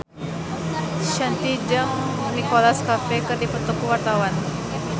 Shanti jeung Nicholas Cafe keur dipoto ku wartawan